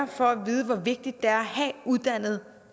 for at vide hvor vigtigt det er at have uddannet